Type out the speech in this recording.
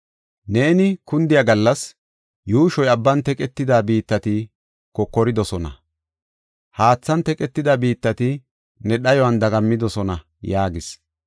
Neeni kundiya gallas yuushoy abban teqetida biittati kokoridosona. Haathan teqetida biittati ne dhayuwan dagammidosona” yaagis.